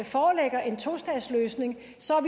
foreligger en tostatsløsning